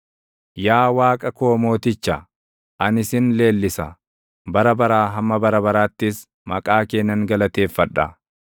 Yaa Waaqa koo Mooticha, ani sin leellisa; bara baraa hamma bara baraattis maqaa kee nan galateeffadha.